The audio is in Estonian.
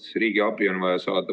See riigiabi on vaja saada.